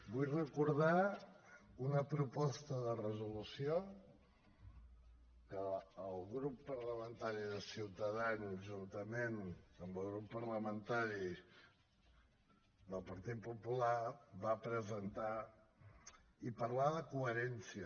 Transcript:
vull recordar una proposta de resolució que el grup parlamentari de ciutadans juntament amb el grup parlamentari del partit popular va presentar i parlar de coherència